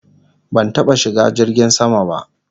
Ban taba shiga jirgin sama ba